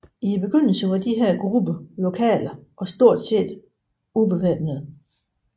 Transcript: I begyndelsen var disse grupper lokale og stort set ubevæbnede